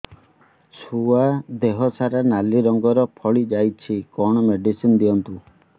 ଛୁଆ ଦେହ ସାରା ନାଲି ରଙ୍ଗର ଫଳି ଯାଇଛି କଣ ମେଡିସିନ ଦିଅନ୍ତୁ